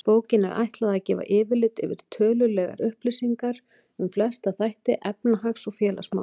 Bókinni er ætlað að gefa yfirlit yfir tölulegar upplýsingar um flesta þætti efnahags- og félagsmála.